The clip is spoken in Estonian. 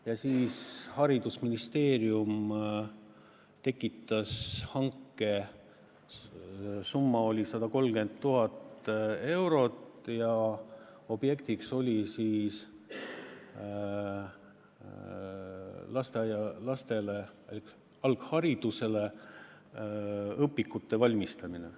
Ja siis haridusministeerium koraldas hanke, mille summa oli 130 000 eurot ja objekt oli lasteaialastele alghariduse õpikute valmistamine.